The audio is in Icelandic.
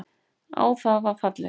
Á það var fallist.